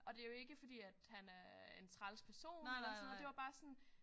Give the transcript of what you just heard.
Og det jo ikke fordi at han er en træls person eller sådan noget det var bare sådan